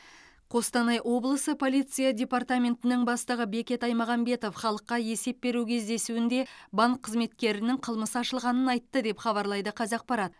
қостанай облысы полиция департаментінің бастығы бекет аймағамбетов халыққа есеп беру кездесуінде банк қызметкерінің қылмысы ашылғанын айтты деп хабарлайды қазақпарат